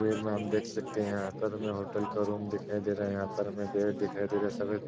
वीर में हम देख सकते हैं यहाँ पर हमें होटल का रूम दिखाई दे रहा है। यहाँ पर हमे बेड दिखाई दे रहा है सफ़ेद।